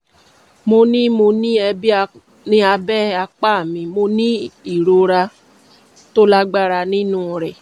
mo ní mo ní ẹ̀bi ní abẹ́ apá mi mo ní ìrora tó lágbára nínú rẹ̀